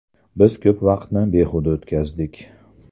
Biz ko‘p vaqtni behuda o‘tkazdik.